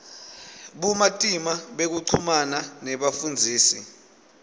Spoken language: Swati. bumatima bekuchumana nebafundzisi